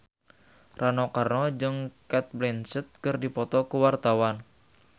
Rano Karno jeung Cate Blanchett keur dipoto ku wartawan